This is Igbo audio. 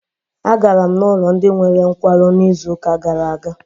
Agara m n'ụlọ ndị nwere nkwarụ na izuka gara aga.